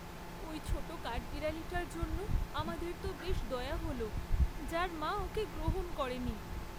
ওই ছোট কাঠবিড়ালিটার জন্য আমাদের তো বেশ দয়া হল, যার মা ওকে গ্রহণ করেনি।